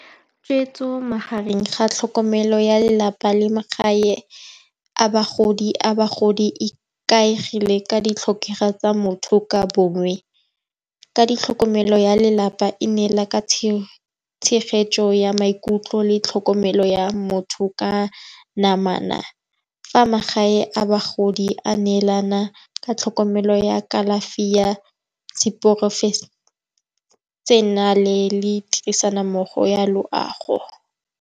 Tshweetso magareng ga tlhokomelo ya lelapa le magae a bagodi e ikaegile ka ditlhokego tsa motho ka bongwe. Ka ditlhokomelo ya lelapa e ne la ka tshegetso ya maikutlo le tlhokomelo ya motho ka namana, fa magae a bagodi a neelana ka tlhokomelo ya kalafi ya seporofešenale le tirisanommogo ya loago.